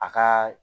A ka